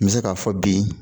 N bɛ se k'a fɔ bi